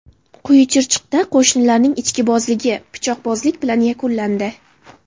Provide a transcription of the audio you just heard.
Quyi Chirchiqda qo‘shnilarning ichkilikbozligi pichoqbozlik bilan yakunlandi.